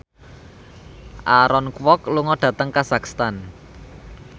Aaron Kwok lunga dhateng kazakhstan